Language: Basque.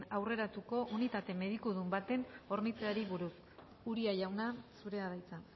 aurreratuko unitate medikudun batez hornitzeari buruz uria jauna zurea da hitza